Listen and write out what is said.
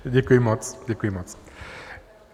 Děkuji moc, děkuji moc.